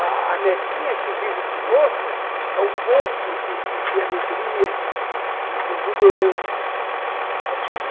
A a netinha que vive conosco é um poço de de de alegria, de de de exuberância.